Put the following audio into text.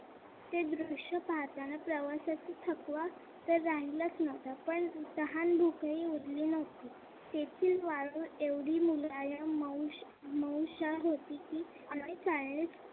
ते दृश्य पाहताना प्रवासातील थकवा तर राहिलाच नव्हता पण तहान-भूक आई उरली नव्हती तेथील वाळवंट एवढी हुशार होती की आम्ही जाणे